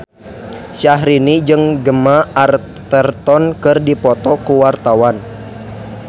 Syahrini jeung Gemma Arterton keur dipoto ku wartawan